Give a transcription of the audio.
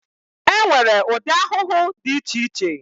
E nwere ụdị ahụhụ dị iche iche.